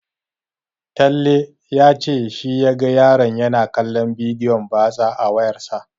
Talle ya ce shi ya ga yaron yana kallon bidiyon batsa a wayarsa.